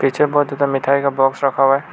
पीछे बहुत ज्यादा मिठाई का बॉक्स रखा हुआ है।